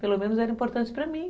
Pelo menos era importante para mim.